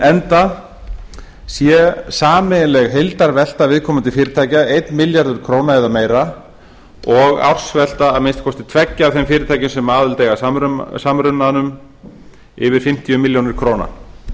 enda sé sameiginleg heildarvelta viðkomandi fyrirtækja einn milljarður króna eða meira og ársvelta að minnsta kosti tveggja af þeim fyrirtækjum sem aðild eiga að samrunanum yfir fimmtíu milljónir króna